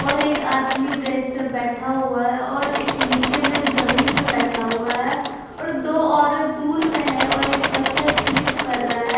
और एक आदमी ब्रेंच पे बेठा हुआ है और एक नीचे में जमीन में बेठा हुआ है और दो ओरत दूर में है और एक बच्चा स्लिप कर रहा है।